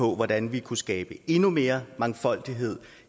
hvordan vi kunne skabe endnu mere mangfoldighed